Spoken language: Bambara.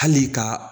Hali ka